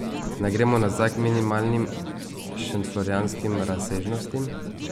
Naj gremo nazaj k minimalnim šentflorjanskim razsežnostim?